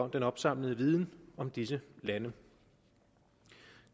den opsamlede viden om disse lande